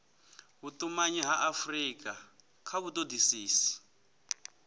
vhutumanyi ha afurika kha vhutodisisi